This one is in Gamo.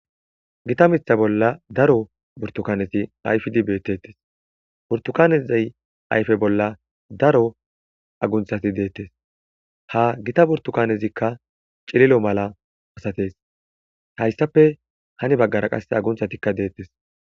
gita mitha bolla daro burtukaneti ayfidi beettettes burtukanezay ayfe bolla daro agunthati deettes ha gita burtukanezikka cililo mala asatees hayssape hani baggara qasse agunthatikka deettes